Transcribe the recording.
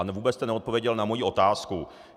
A vůbec jste neodpověděl na moji otázku.